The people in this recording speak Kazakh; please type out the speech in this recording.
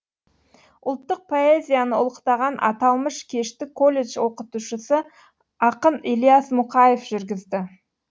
ұлттық поэзияны ұлықтаған аталмыш кешті колледж оқытушысы ақын ілиясмұқаев жүргізді